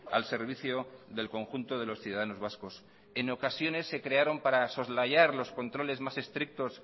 al servicio del conjunto de los ciudadanos vascos en ocasiones se crearon para soslayar los controles más estrictos